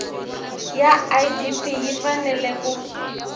ya idp yi fanele ku